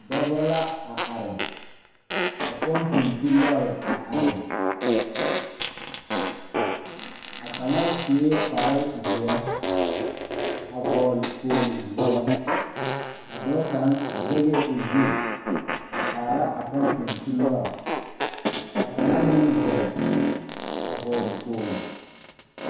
Dɔbɔ la are ka pɔmpeŋ tu lɔre a are a kaŋa suee kparezeɛ a vɔgle kpogle zeɛ a dɔɔ kaŋ zɛgɛɛ o zu a kaara a pɔmpeŋ tu lɔre ka kaŋa meŋ zeŋ a bɔle kpogle.